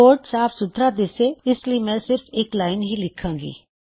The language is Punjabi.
ਕੋਡ ਸਾਫ ਸੁਥਰਾ ਦਿੱਸੇ ਇਸ ਲਈ ਮੈਂ ਸਿਰਫ ਇੱਕ ਲਾਇਨ ਹੀ ਲਿੱਖਾਂ ਗਾ